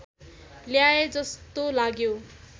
ल्याए जस्तो लाग्यो